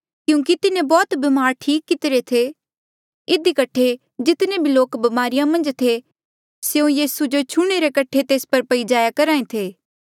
क्यूंकि तिन्हें बौह्त बीमार ठीक कितिरे थे इधी कठे जितने भी लोक बमारिया मन्झ थे स्यों यीसू जो छूह्णे रे कठे तेस पर पई जाया करहा ऐें थे